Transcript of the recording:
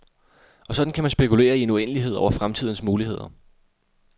Og sådan kan man spekulere i en uendelighed over fremtidens muligheder.